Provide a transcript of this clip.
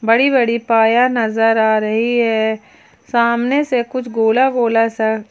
बड़ी बड़ी पाया नजर आ रही है सामने से कुछ गोला गोला सा--